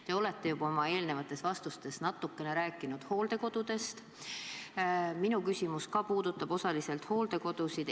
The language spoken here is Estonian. Te olete oma eelnevates vastustes natukene juba rääkinud hooldekodudest, ka minu küsimus puudutab osaliselt hooldekodusid.